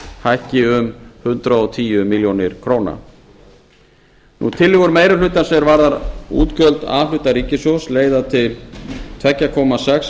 hækki um hundrað og tíu milljónir króna tillögur meiri hlutans er varða útgjöld a hluta ríkissjóðs leiða til tvö komma sex